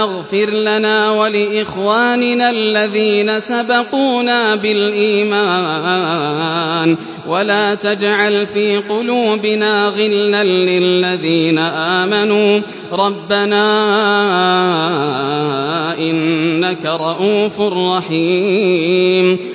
اغْفِرْ لَنَا وَلِإِخْوَانِنَا الَّذِينَ سَبَقُونَا بِالْإِيمَانِ وَلَا تَجْعَلْ فِي قُلُوبِنَا غِلًّا لِّلَّذِينَ آمَنُوا رَبَّنَا إِنَّكَ رَءُوفٌ رَّحِيمٌ